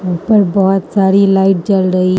ऊपर बहुत सारी लाइट जल रही --